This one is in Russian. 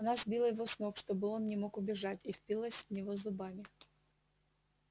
она сбила его с ног чтобы он не мог убежать и впилась в него зубами